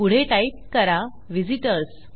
पुढे टाईप करा व्हिझिटर्स